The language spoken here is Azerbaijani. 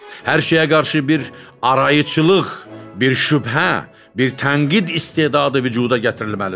Hər şeyə qarşı bir arayıçılıq, bir şübhə, bir tənqid istedadı vücuda gətirilməlidir.